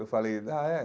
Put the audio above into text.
Eu falei, ah, é?